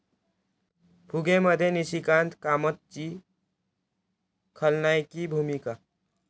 फुगे'मध्ये निशिकांत कामतची खलनायकी भूमिका